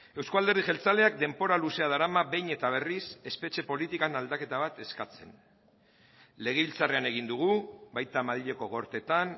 euzko alderdi jeltzaleak denbora luzea darama behin eta berriz espetxe politikan aldaketa bat eskatzen legebiltzarrean egin dugu baita madrileko gorteetan